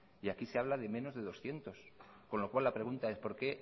y aquí se habla de menos de doscientos con lo cual la pregunta es por qué